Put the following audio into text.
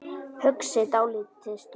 Hugsi dálitla stund.